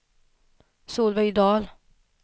Solveig Dahl